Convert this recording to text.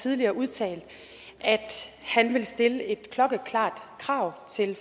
tidligere udtalt at han vil stille et klokkeklart krav til